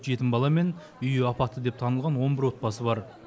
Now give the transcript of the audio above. жетім бала мен үйі апатты деп танылған он бір отбасы бар